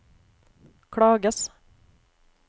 klages